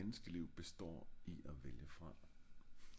et menneske liv består i af vælge fra